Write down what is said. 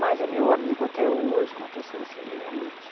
Mas é meu amigo até hoje, uma pessoa excelente.